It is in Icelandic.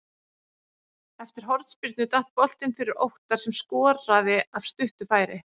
Eftir hornspyrnu datt boltinn fyrir Óttar sem skoraði af stuttu færi.